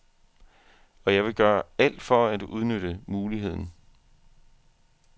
Og jeg vil gøre alt for at udnytte muligheden.